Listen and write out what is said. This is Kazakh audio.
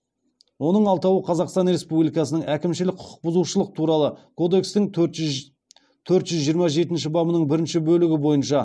оның алтауы қазақстан республикасының әкімшілік құқықбұзушылық туралы кодекстің төрт жүз жиырма жетінші бабының бірінші бөлігі бойынша